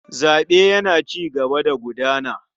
Zaɓe yana cigaba da gudana.